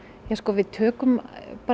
við tökum